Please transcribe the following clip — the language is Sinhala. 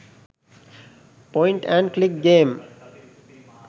point and click game